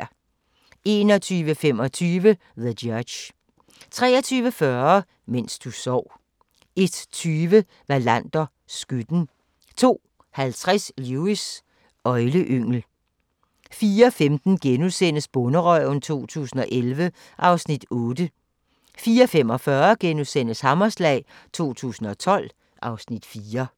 21:25: The Judge 23:40: Mens du sov 01:20: Wallander: Skytten 02:50: Lewis: Øgleyngel 04:15: Bonderøven 2011 (Afs. 8)* 04:45: Hammerslag 2012 (Afs. 4)*